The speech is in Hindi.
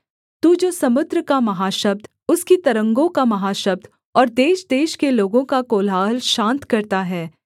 तू जो समुद्र का महाशब्द उसकी तरंगों का महाशब्द और देशदेश के लोगों का कोलाहल शान्त करता है